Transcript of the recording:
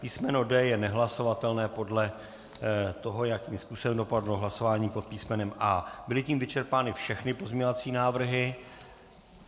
Písmeno D je nehlasovatelné podle toho, jakým způsobem dopadlo hlasování pod písmenem A. Byly tím vyčerpány všechny pozměňovací návrhy.